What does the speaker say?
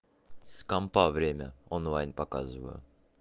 с компьютера время онлайн показываю